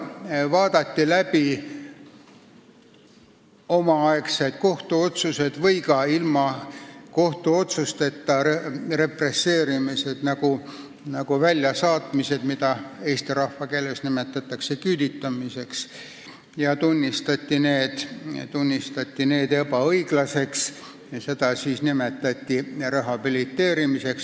Omaaegsed kohtuotsused ja ka ilma kohtuotsusteta represseerimine ehk siis väljasaatmine, mida eesti rahvas nimetab küüditamiseks, tunnistati ebaõiglaseks ja seda nimetati rehabiliteerimiseks.